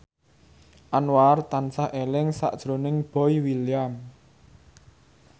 Anwar tansah eling sakjroning Boy William